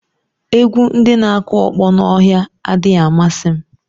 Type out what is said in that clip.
Egwu ndị na-akụ ọkpọ n'ọhịa adịghị amasị m.